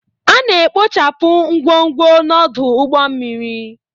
A na-ekpochapụ ngwongwo n'ọdụ ụgbọ mmiri